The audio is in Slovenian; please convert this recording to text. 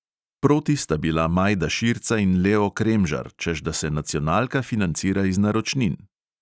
Proti sta bila majda širca in leo kremžar, češ da se nacionalka financira iz naročnin.